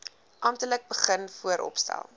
amptelik begin vooropstel